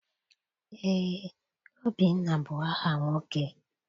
Eé, Obinna bụ aha nwoke.